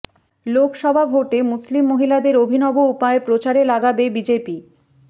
লোকসভা ভোটে মুসলিম মহিলাদের অভিনব উপায়ে প্রচারে লাগাবে বিজেপি